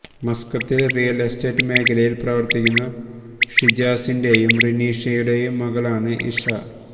മസ്കത്തിൽ real estate മേഖലയിൽ പ്രവർത്തിക്കുന്ന ഷിജാസിന്റെയും റിനീഷയുടെയും മകളാണ് ഇഷ